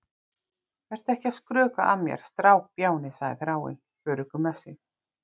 Vertu ekki að skrökva að mér, strákbjáni, segir Þráinn, öruggur með sig.